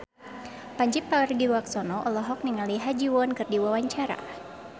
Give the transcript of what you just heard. Pandji Pragiwaksono olohok ningali Ha Ji Won keur diwawancara